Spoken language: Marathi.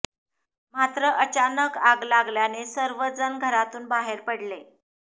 मात्र अचानक आग लागल्याने सर्व जण घरातून बाहेर पडले